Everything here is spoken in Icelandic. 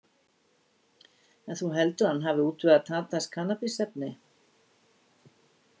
En þú heldur að hann hafi útvegað Tadas kannabisefni?